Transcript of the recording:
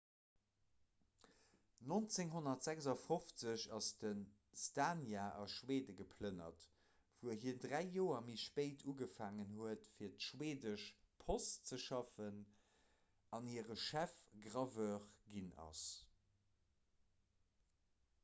1956 ass de słania a schwede geplënnert wou hien dräi joer méi spéit ugefaangen huet fir d'schweedesch post ze schaffen an hire chefgraveur ginn ass